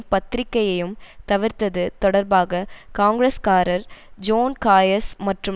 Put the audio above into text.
பத்திரிக்கையையும் தவிர்த்தது தொடர்பாக காங்கிரஸ்காரர் ஜோன்காயர்ஸ் மற்றும்